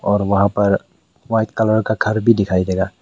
और वहां पर वाइट कलर का घर भी दिखाई देगा।